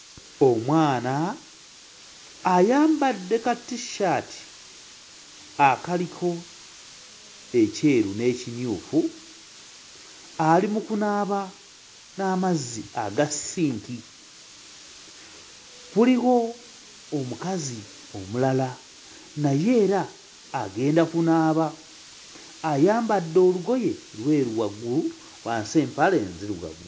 Omwana ayambadde katissaati akaliko ekyeru n'ekimyufu, ali mu kunaaba n'amazzi aga ssinki, waliwo omukazi omulala naye era agenda kunaaba; ayambadde olugoye lweru waggulu, wansi empale nzirugavu.